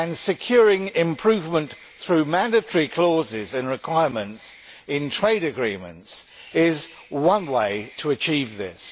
Securing improvement through mandatory clauses and requirements in trade agreements is one way to achieve this.